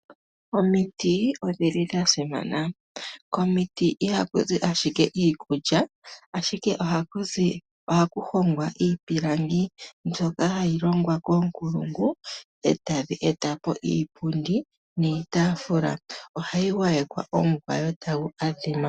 Omiti odhili dha simana, komiti ihaku zi ashike, iikulya ashike ohaku hongwa iipilangi mbyoka hayi longwa koonkulungu, e tadhi eta po iipundi niitaafula, ohayi gwa yekwa omugwayo tagu adhima.